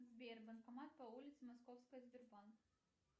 сбер банкомат по улице московская сбербанк